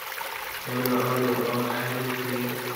hello olly waa maxay liiskayga